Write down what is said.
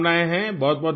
بہت بہت شکریہ